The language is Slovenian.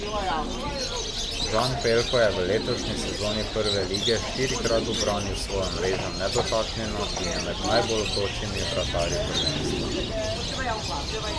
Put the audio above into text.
Žan Pelko je v letošnji sezoni Prve lige štirikrat ubranil svojo mrežo nedotaknjeno in je med najbolj vročimi vratarji prvenstva.